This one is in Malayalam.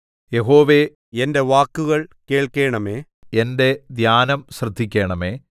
യഹോവേ എന്റെ വാക്കുകൾ കേൾക്കണമേ എന്റെ ധ്യാനം ശ്രദ്ധിക്കണമേ